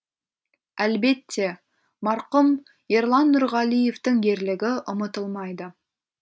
әлбетте марқұм ерлан нұрғалиевтің ерлігі ұмытылмайды